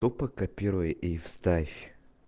тупо копируй и вставь